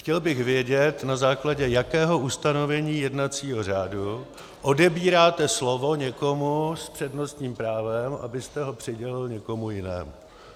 Chtěl bych vědět, na základě jakého ustanovení jednacího řádu odebíráte slovo někomu s přednostním právem, abyste ho přidělil někomu jinému.